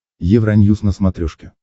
евроньюс на смотрешке